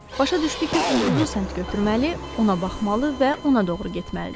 Başa düşdü ki, ulduzu səmt götürməli, ona baxmalı və ona doğru getməlidir.